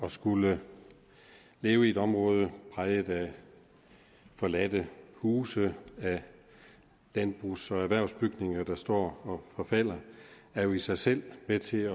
at skulle leve i et område præget af forladte huse af landbrugs og erhvervsbygninger der står og forfalder er jo i sig selv med til